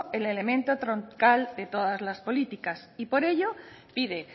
el elemento troncal de todas las políticas y por ello pide